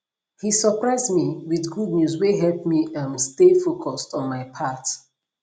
he surprise me with good news wey help me um stay focused on my path